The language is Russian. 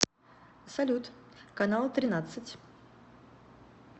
салют канал тринадцать